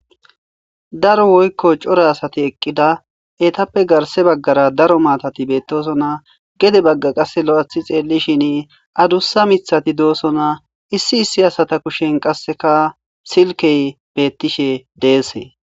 Daro woyko cora asati eqida etappe garsse bagara cora mataati betosona gede baga qase loythi xelishin adusa mithati dosona issi asata kushen qaseka silkey dese